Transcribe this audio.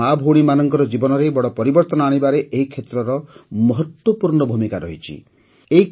ଆମର ମାଆଭଉଣୀମାନଙ୍କର ଜୀବନରେ ବଡ଼ ପରିବର୍ତ୍ତନ ଆଣିବାରେ ଏହି କ୍ଷେତ୍ରର ମହତ୍ତ୍ୱପୂର୍ଣ୍ଣ ଭୂମିକା ରହିଛି